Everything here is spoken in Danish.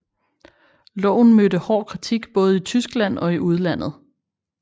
Loven mødte hård kritik både i Tyskland og i udlandet